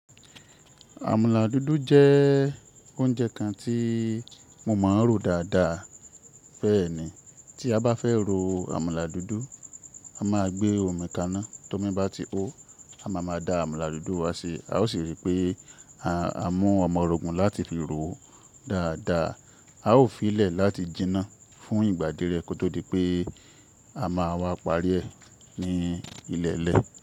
Àmàlà dúdú jẹ́ oúnjẹ kan tí mo máa ń rò dáadáa bẹ́ẹ̀ni. Tí a bá fẹ́ rò àmàlà dúdú, a máa gbé omi kaná. Tó mi bá ti hó, a máa ma da àmàlà dúdú wa síi. A ó sì rí pé à mú ọmọ òrógun láti fi ròó dáadáa. A ó fi í lẹ̀ láti jiná fún ìgbà díẹ̀ kó tó di pé a máa wá parí ẹ ní ilẹ̀lẹ̀.